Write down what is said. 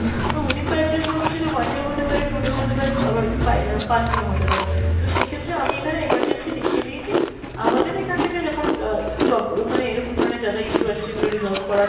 তো within five days বলতে সেটা one day ও হতে পারে two day ও হতে পারে আবার five আহ পাঁচদিন ও হতে পারে। তো সেই ক্ষেত্রে আমি এখানে emergency লিখে দিয়েছি আমাদের এখান থেকে যখন আহ প্রব ওইখানে এরকম ধরনের যা যা issue আছে সেগুলো resolve করার,